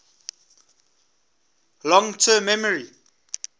long term memory